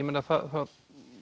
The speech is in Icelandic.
að það